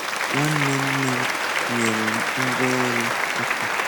Nwanne nne m nyere m ngwá ọrụ aka.